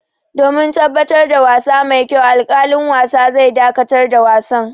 Domin tabbatar da wasa mai kyau, alƙalin wasa zai dakatar da wasan.